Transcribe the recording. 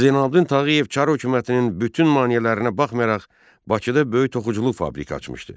Hacı Zeynəlabdin Tağıyev Çar hökumətinin bütün maneələrinə baxmayaraq Bakıda böyük toxuculuq fabriki açmışdı.